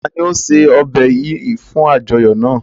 Ta ni o ṣe ọbẹ yìí fún àjọyọ̀ náà?